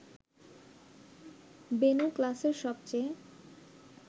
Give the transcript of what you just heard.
বেণু ক্লাসের সবচেয়ে